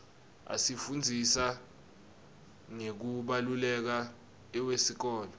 asifundzisa ngekubaluleka iwesikolo